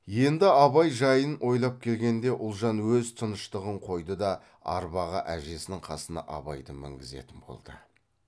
енді абай жайын ойлай келгенде ұлжан өз тыныштығын қойды да арбаға әжесінің қасына абайды мінгізетін болды